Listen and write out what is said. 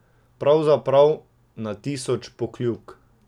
Pravzaprav na tisoč Pokljuk.